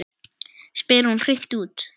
spyr hún hreint út.